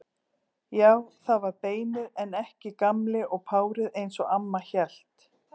Já, það var beinið en ekki Gamli og párið eins og amma hélt.